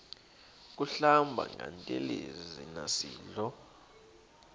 kuhlamba ngantelezi nasidlo